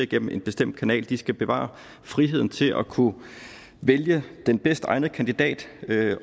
gennem en bestemt kanal de skal bevare friheden til at kunne vælge den bedst egnede kandidat